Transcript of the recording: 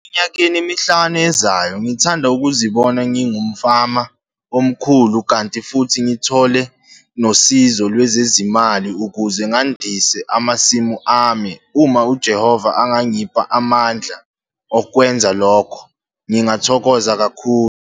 Eminyakeni emihlanu ezayo ngithanda ukuzibona ngiyngumfama omkhulu kanti, futhi ngithole nosizo lwezezimali ukuze ngandise amasimu ami. Uma uJehova engangipha amandla okwenza lokho ngingathokoza kakhulu.